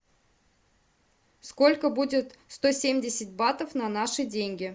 сколько будет сто семьдесят батов на наши деньги